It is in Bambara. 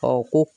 ko